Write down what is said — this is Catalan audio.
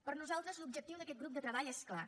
per nosaltres l’objectiu d’aquest grup de treball és clar